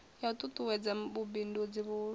ya u ṱuṱuwedza vhubindudzi vhuhulwane